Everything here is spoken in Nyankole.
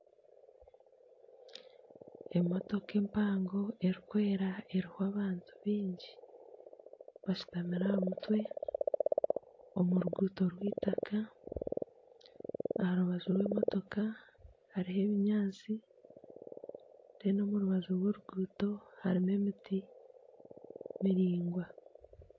Emotoka empango erikwera eriho abantu baingi, bashutamire aha mutwe omu ruguuto rw'eitaka aha rubaju rw'emotoka hariho ebinyaatsi reeru omu rubaju rw'oruguuto harimu emiti biringwa